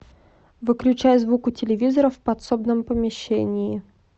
выключай звук у телевизора в подсобном помещении